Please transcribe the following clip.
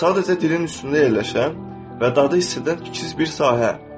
Sadəcə dilin üstündə yerləşən və dadı hiss edən kiçik bir sahə.